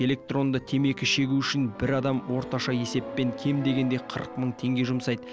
электронды темекі шегу үшін бір адам орташа есеппен кем дегенде қырық мың теңге жұмсайды